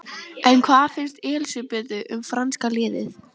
En hvað finnst Elísabetu um franska liðið?